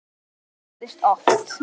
Og það gerðist oft.